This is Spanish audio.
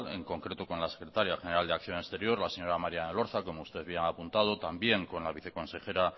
en concreto con la secretaria general de acción exterior la señora marian elorza como usted bien ha apuntado también con la viceconsejera